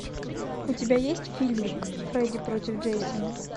у тебя есть фильмик фредди против джейсона